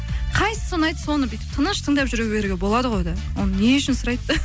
қайсысы ұнайды соны бүйтіп тыныш тыңдап жүре беруге болады ғой да оны не үшін сұрайды